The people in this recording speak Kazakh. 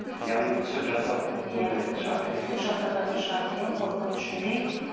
яғни түсік жасатып иә өлтіретін шығар деп иә түсік жасататын шығар деген қорқыныш үрей